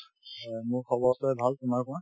অ, মোৰ খবৰ চবৰে ভাল তোমাৰ কোৱা ?